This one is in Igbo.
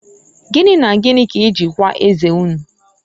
Gini na Gini ka eji kwaa eze unu?